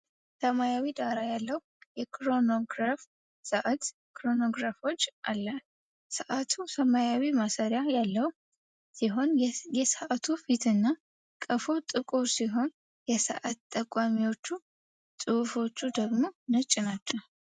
ሰማያዊ ዳራ ያለው የክሮኖግራፍ ሰዓት (chronograph watch) አለ። ሰዓቱ ሰማያዊ ማሰሪያ ያለው ሲሆን፣ የሰዓት ፊቱ እና ቀፎው ጥቁር ሲሆን የሰዓት ጠቋሚዎችና ጽሁፎች ደግሞ ነጭ ናቸው።